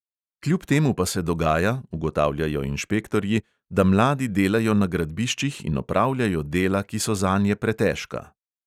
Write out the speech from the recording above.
Kljub temu pa se dogaja, ugotavljajo inšpektorji, da mladi delajo na gradbiščih in opravljajo dela, ki so zanje pretežka.